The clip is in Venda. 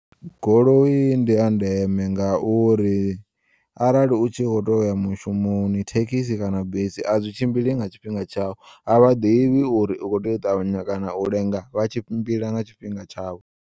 Goloi ndi ya ndeme ngauri arali u tshi kho teya uya mushumoni thekisi kana bisi, azwi tshimbili nga tshifhinga tshau a vhaḓivhi uri u kho tea u ṱavhanya kana u lenga vha tshimbila nga tshifhinga tshavho.